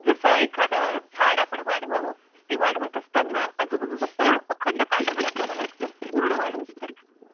जसं एखाद झाड आपण वाढवाव, ते वाढत असताना आजूबाजूच तण अखंड काढाव लागतं ते पूर्ण वाढ होईपर्यंत.